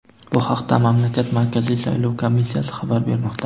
Bu haqda mamlakat Markaziy saylov komissiyasi xabar bermoqda.